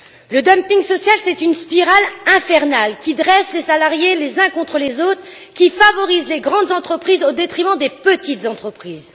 Le dumping social est une spirale infernale, qui dresse les salariés les uns contre les autres et qui favorise les grandes entreprises au détriment des petites entreprises.